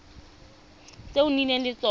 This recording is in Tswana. tse o nnileng le tsone